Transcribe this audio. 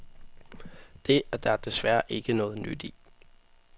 Det er der desværre ikke noget nyt i.